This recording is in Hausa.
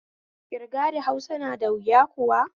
Ƙirga da Huasa na da wuya kuwa?